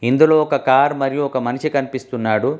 ఇందులో ఒక కార్ మరియు ఒక మనిషి కనిపిస్తున్నాడు.